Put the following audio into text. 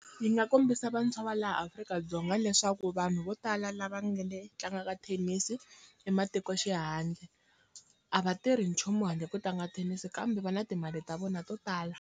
Yi nga kombisa vantshwa va laha Afrika-Dzonga leswaku vanhu vo tala lava nga le tlangaka thenisi i matikoxihandle a va tirhi nchumu handle ko tlanga thenisi kambe va na timali ta vona to tala.